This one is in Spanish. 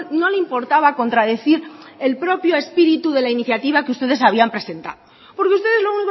no le importaba contradecir el propio espíritu de la iniciativa que ustedes habían presentado porque ustedes lo